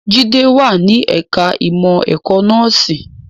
Jide wà ní ẹ̀ka ìmọ̀ ẹ̀kọ́ nọ́ọ̀sì